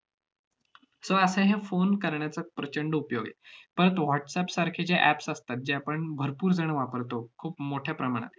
so असं हे phone करण्याचं प्रचंड उपयोग आहे. परत whatsapp सारखे जे apps असतात जे आपण भरपूर जण वापरतो खूप मोठ्या प्रमाणात